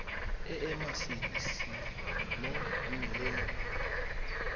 e e masisi mo mmeleng